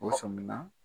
U sɔmin na